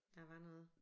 Der var noget